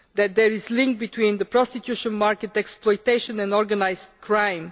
There is a link between the prostitution market, exploitation and organised crime.